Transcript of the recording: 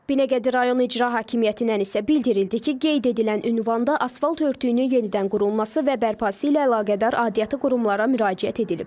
Binəqədi rayon İcra Hakimiyyətindən isə bildirildi ki, qeyd edilən ünvanda asfalt örtüyünün yenidən qurulması və bərpası ilə əlaqədar aidiyyatı qurumlara müraciət edilib.